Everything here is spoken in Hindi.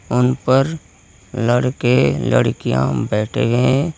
उन पर लड़के लड़कियां बैठे हुए हैं।